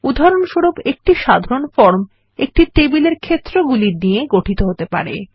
উদাহরণস্বরূপ একটি সাধারণ ফর্ম একটি টেবিলের ক্ষেত্রগুলি নিয়ে গঠিত হতে পারে